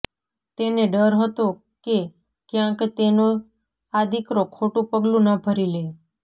તેને ડર હતો કે ક્યાંક તેનો આ દીકરો ખોટું પગલું ન ભરી લે